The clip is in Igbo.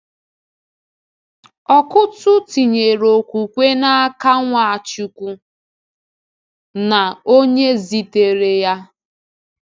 Ọkụ́tụ̀ tinyere okwukwe n’aka Nwachukwu na Onye zitere-ya.